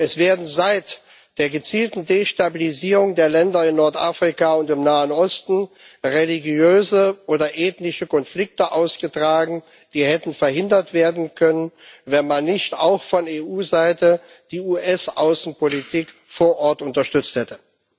Es werden seit der gezielten Destabilisierung der Länder in Nordafrika und im Nahen Osten religiöse oder ethnische Konflikte ausgetragen, die hätten verhindert werden können, wenn man nicht auch von EU Seite die US Außenpolitik vor Ort unterstützt hätte.